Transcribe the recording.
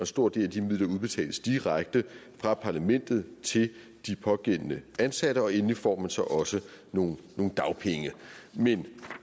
stor del af de midler udbetales direkte fra parlamentet til de pågældende ansatte og endelig får man så også nogle dagpenge men